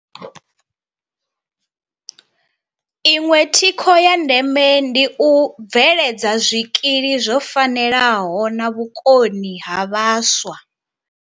Iṅwe thikho ya ndeme ndi u bveledza zwikili zwo fanelaho na vhukoni ha vhaswa.